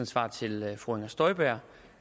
svar til fru inger støjberg